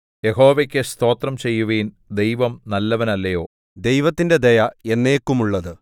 യഹോവയ്ക്ക് സ്തോത്രം ചെയ്യുവിൻ ദൈവം നല്ലവനല്ലയോ ദൈവത്തിന്റെ ദയ എന്നേക്കുമുള്ളത്